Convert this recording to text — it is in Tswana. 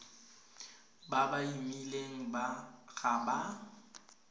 ba ba imileng ga ba